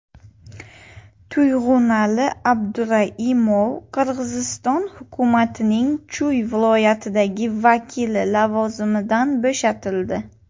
Tuyg‘unali Abduraimov Qirg‘iziston hukumatining Chuy viloyatidagi vakili lavozimidan bo‘shatildi.